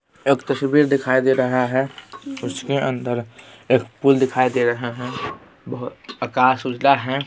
एक तस्वीर दिखाई दे रहा है उसके अंदर एक पुल दिखाई दे रहा है बहोत आकाश उजला है।